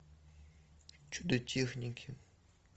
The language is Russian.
чудо техники